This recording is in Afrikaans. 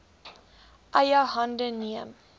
eie hande neem